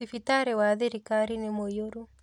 Thibitarĩ wa thirikari nĩ mũiyũru